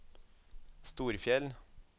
Storfjell